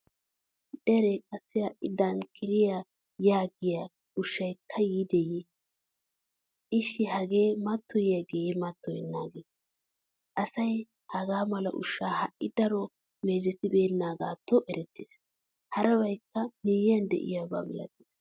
Dere qassi ha'i dankkira yaagiyaa ushshaykka yiideye? Ishshi hagee matoyiyageye matoyenage ? Asay hagaamala ushsha ha'i daro meezetibenagatto erettees. Harabykka miyiyan de'iyaba milatees.